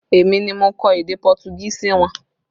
Èmi ni mo kọ èdè Pọtugí sí wọn